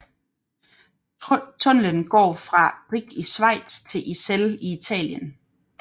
Tunnellen går fra Brig i Schweiz til Iselle i Italien